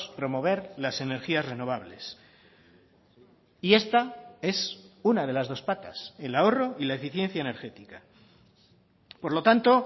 promover las energías renovables y esta es una de las dos patas el ahorro y la eficiencia energética por lo tanto